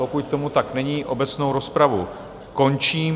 Pokud tomu tak není, obecnou rozpravu končím.